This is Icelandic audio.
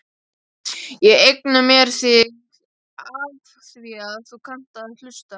Ég eigna mér þig afþvíað þú kannt að hlusta.